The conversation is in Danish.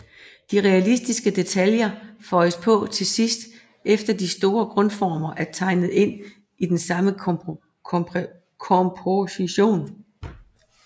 De realistiske detaljer føjes på til sidst efter de store grundformer er tegnet ind i den stramme komposition